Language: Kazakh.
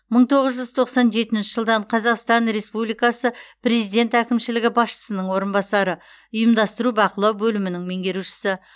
мың тоғыз жүз тоқсан жетінші жылдан қазақстан республикасы президент әкімшілігі басшысының орынбасары ұйымдастыру бақылау бөлімінің меңгерушісі